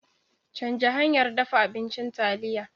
Canja hanyar dafa abincin taliya.